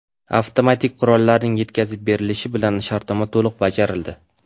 Avtomatik qurollarning yetkazib berilishi bilan shartnoma to‘liq bajarildi.